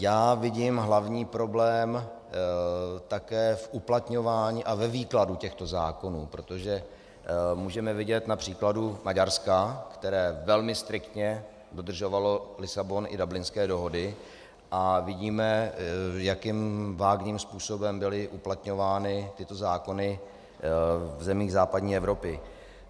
Já vidím hlavní problém také v uplatňování a ve výkladu těchto zákonů, protože můžeme vidět na příkladu Maďarska, které velmi striktně dodržovalo Lisabon i Dublinské dohody, a vidíme, jakým vágním způsobem byly uplatňovány tyto zákony v zemích západní Evropy.